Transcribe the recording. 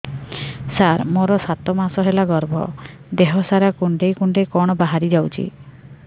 ସାର ମୋର ସାତ ମାସ ହେଲା ଗର୍ଭ ଦେହ ସାରା କୁଂଡେଇ କୁଂଡେଇ କଣ ବାହାରି ଯାଉଛି